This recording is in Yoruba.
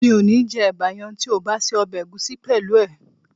Mi ò ní jẹ́ ẹ̀bà yẹn tí ò bá se ọbẹ̀ ẹ̀gúsí pẹ̀lú ẹ̀